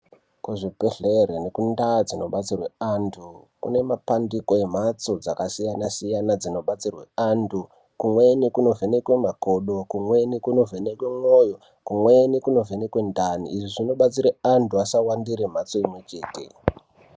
Kuzvibhedhlera nekundau dzinobatsirwa antu nekumbatso dzakasiyana siyana dzinobatsirwa antu kumweni kunovhenkwa makodo kumweni kunovhenkwa moyo kumweni kuunivhenwka kuti vantu vashandira kumwe chete.